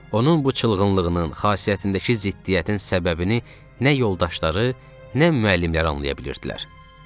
Onun bu çılğınlığının, xasiyyətindəki ziddiyyətin səbəbini nə yoldaşları, nə müəllimləri anlaya bilirdilər.